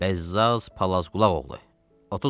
Bəzzaz Palazqulaq oğlu.